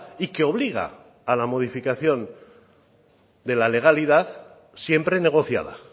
y que obliga a la modificación de la legalidad siempre negociada